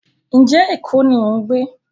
njé ẹko ní o ń gbé?